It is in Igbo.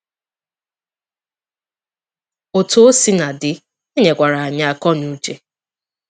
Otú o sina dị, e nyekwara anyị akọnuche.